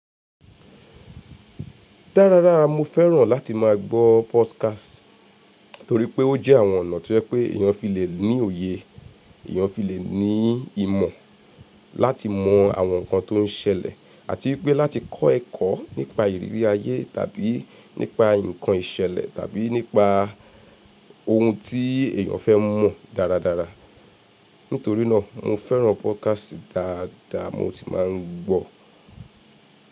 Dáradára mo fẹ́ràn láti máa gbọ́ podcast torí pé ó jẹ́ àwọn ọ̀nà tó jẹ́ pé èèyàn fi lè ní òye, èèyàn fi lè ní ìmọ̀ láti mọ àwọn nǹkan tó ń ṣẹlẹ̀ àti wípé láti kọ́ ẹ̀kọ́ nípa ìrírí ayé tàbí nípa nǹkan ìṣẹ̀lẹ̀ tàbí nípa ohun tí èyàn fẹ́ mọ̀ dáradára. Nítorí náà mo fẹ́ràn podcast dáadáa mo sì máa ń gbọ.